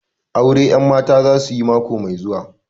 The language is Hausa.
Aure 'yanmata za su yi mako mai zuwa